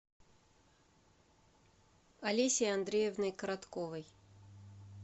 олесей андреевной коротковой